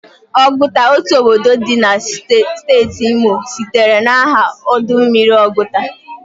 Oguta, otu obodo di na steeti Imo sitere na aha ọdụ mmiri Ọgụta.